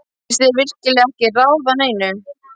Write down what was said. Finnst þér ég virkilega ekki ráða neinu?